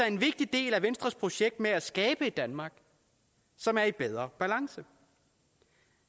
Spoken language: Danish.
en vigtig del af venstres projekt med at skabe et danmark som er i bedre balance